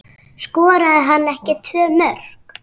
Skoraði hann ekki tvö mörk?